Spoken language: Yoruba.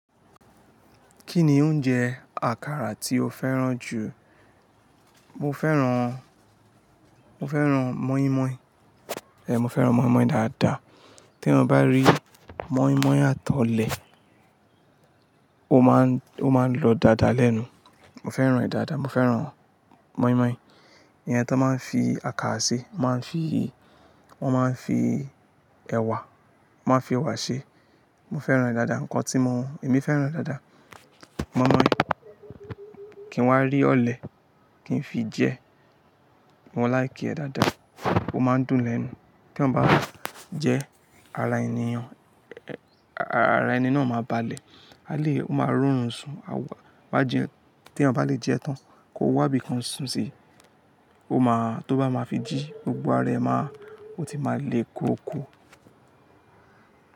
Kí ni oúnjẹ àkàrà tí o fẹ́ràn jù? Mo fẹ́ràn mọ́ímọ́í. Mo fẹ́ràn mọ́ímọ́í dáadáa. Tí n bá rí mọ́ímọ́í àti ọlẹ̀, ó máa ń lọ dáadáa lẹ́nu. Mo fẹ́ràn rẹ̀ dáadáa. Mo fẹ́ràn mọ́ímọ́í. Ìyẹn ti wọ́n báa fi àkà ṣe. Wọ́n máa ń fi, wọ́n máa ń fi ẹ̀wà, wọ́n máa ń fi ẹ̀wà ṣe. Mo fẹ́ràn rẹ̀ dáadáa. Ǹkan tí mo, èmi fẹ́ràn dáadáa. Mọ́ímọ́í, kí n wá rí ọ̀lẹ, kí n fi jẹ. Mo like ẹ́ dáadáa. Ó máa ń dùn lẹ́nu. Tí ọ bá jẹ ara ènìyàn, ara, ara ẹni náà máa balẹ̀. A lè, ó máa rí òrùn sùn. A wà, bá jẹ, tí eyan bá lè jẹ tán, kò wà bí kan sùn sí. Ó máa, tó bá máa fi jí, gbogbo ara ẹ máa, ó ti máa le ko ko.